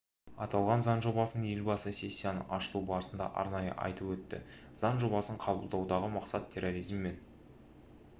аталған заң жобасын елбасы сессияның ашылу барысында арнайы айтып өтті заң жобасын қабылдаудағы мақсат терроризм мен